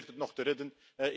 U probeert het nog te redden.